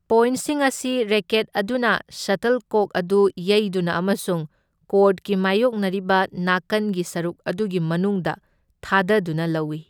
ꯄꯣꯏꯟꯁꯤꯡ ꯑꯁꯤ ꯔꯦꯀꯦꯠ ꯑꯗꯨꯅ ꯁꯇꯜꯀꯣꯛ ꯑꯗꯨ ꯌꯩꯗꯨꯅ ꯑꯃꯁꯨꯡ ꯀꯣꯔꯠꯀꯤ ꯃꯥꯌꯣꯛꯅꯔꯤꯕ ꯅꯥꯀꯟꯒꯤ ꯁꯔꯨꯛ ꯑꯗꯨꯒꯤ ꯃꯅꯨꯡꯗ ꯊꯥꯗꯗꯨꯅ ꯂꯧꯏ꯫